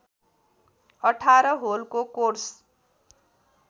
१८ होलको कोर्स